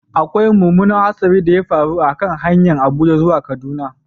Akwai mummunan hatsarin da ya faru a kan hanyar Abuja zuwa Kaduna.